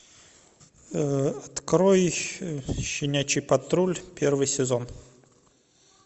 открой щенячий патруль первый сезон